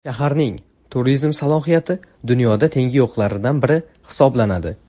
Shaharning turizm salohiyati dunyoda tengi yo‘qlaridan biri hisoblanadi.